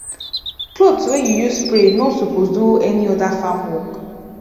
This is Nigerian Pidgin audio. cloth wey you use spray no suppose do any other farm work